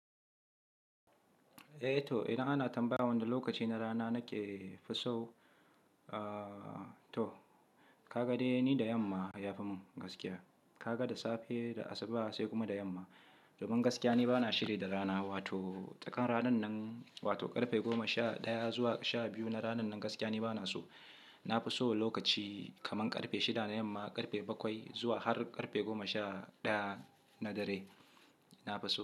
Eh to, idan ana tambaya wani lokaci na rana nake fiso, aa to kaga dai ni da yamma ya fi mun gaskiya. Kaga da safe, da asuba sai kuma da yamma. Domin gaskiya ni bana shiri da rana, wato tsakan ranan nan wato ƙarfe goma sha ɗaya zuwa sha biyu na ranan nan gaskiya ni bana so. Na fi so lokaci kaman ƙarfe shida na yamma ƙarfe bakwai zuwa har ƙarfe goma sha ɗaya na dare, na fi so.